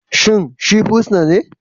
Shin shi fursuna ne?